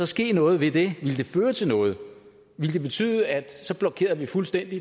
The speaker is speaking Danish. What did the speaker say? ske noget ved det ville det føre til noget ville det betyde at vi fuldstændig